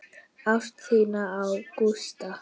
Ást þína á Gústa.